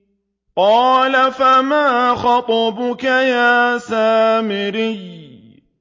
قَالَ فَمَا خَطْبُكَ يَا سَامِرِيُّ